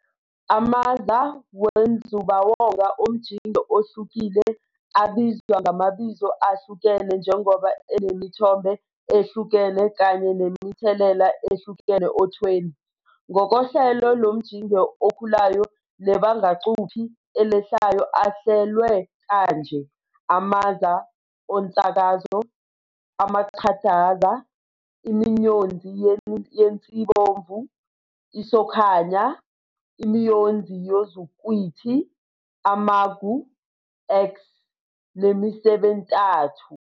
AmaZa wenzubawonga omjinge ohlukile abizwa ngamabizo ahlukene njengoba enemithombo ehlukene kanye nemithelela ehlukene othweni. Ngokohlelo lomjinge okhulayo nebangacuphi elehlayo ahlelwe kanje- amaza onsakazo, amachadaza, imiyonzi yensibomvu, isokhanya, imiyonzi yozukhwithi, amagu -X nemisebentathu.